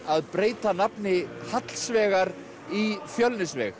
að breyta nafni Hallsvegar í